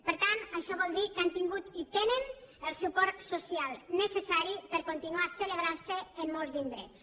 per tant això vol dir que han tingut i tenen el suport social necessari per continuar celebrant se en molts indrets